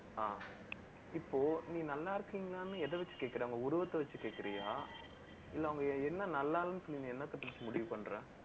ஆஹ் இப்போ, நீ நல்லா இருக்கீங்களான்னு, எத வச்சு கேக்குற உங்க உருவத்தை வச்சு கேக்குறியா இல்லை, அவங்க என்ன நல்லா இல்லைன்னு, நீங்க என்னத்த முடிவு பண்ற